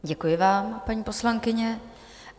Děkuji vám, paní poslankyně.